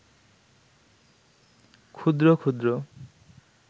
ক্ষুদ্র ক্ষুদ্র